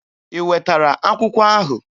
I wetara akwụkwọ ahụ?